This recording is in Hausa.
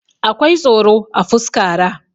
akwai tsoro a fuskaraa